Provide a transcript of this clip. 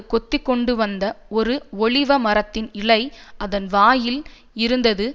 கொத்திக்கொண்டுவந்த ஒரு ஒலிவமரத்தின் இலை அதன் வாயில் இருந்தது